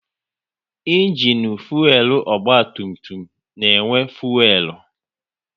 Ịnginu fuelu ọgba tum tum na-enwe fuelu